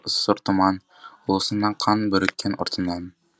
сұр тұман ұлысына қан бүріккен ұртынан